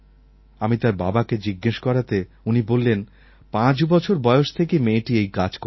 আমি তার বাবাকে জিজ্ঞেস করাতে উনি বললেন পাঁচ বছর বয়স থেকেই মেয়েটি এই কাজ করছে